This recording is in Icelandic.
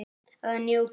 Að njóta.